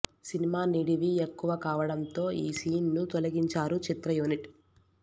cinema నిడివి ఎక్కువ కావడం తో ఈ సీన్ ను తొలగించారు చిత్ర యూనిట్